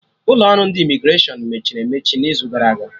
Ụlọ ọrụ ndị Imigreshọn mechiri emechi n'izu gara aga